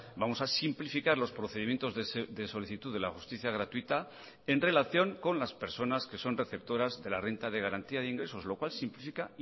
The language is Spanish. vamos a simplificar los procedimientos de solicitud de la justicia gratuita en relación con las personas que son receptoras de la renta de garantía de ingresos lo cual simplifica